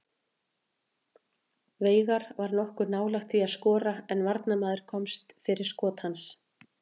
Veigar var nokkuð nálægt því að skora en varnarmaður komst fyrir skot hans.